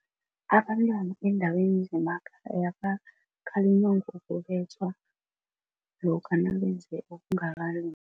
Abantwana beendaweni zemakhayapha bakhalinywa ngokubetjhwa lokha nabenze okungakalungi.